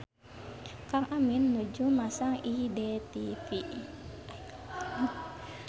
Kang Amin nuju masang IDTV